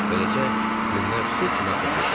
Beləcə, günlər su kimi axıb gedirdi.